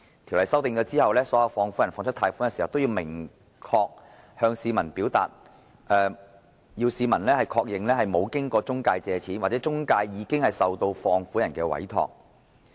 條款修訂後，所有放款人在貸出款項時，均須確定市民沒有經任何中介公司借款，或該中介公司已經接受放款人的委託。